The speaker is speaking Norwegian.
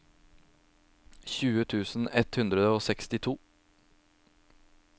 tjue tusen ett hundre og sekstito